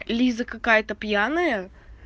лиза какая-то пьяная